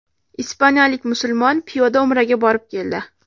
Ispaniyalik musulmon piyoda umraga borib keldi.